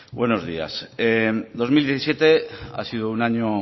buenos días dos mil diecisiete ha sido un año